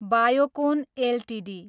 Biocon Ltd